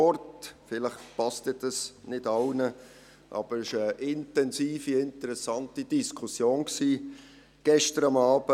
Vielleicht passt das dann nicht allen, aber es war eine intensive, interessante Diskussion gestern Abend.